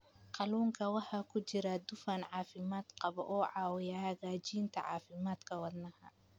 Kalluunka waxaa ku jira dufan caafimaad qaba oo caawiya hagaajinta caafimaadka wadnaha.